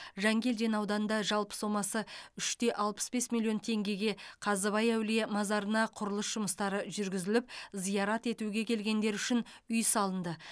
жангелдин ауданында жалпы сомасы үш те алпыс бес миллион теңгеге қазыбай әулие мазарына құрылыс жұмыстары жүргізіліп зиярат етуге келгендер үшін үй салынды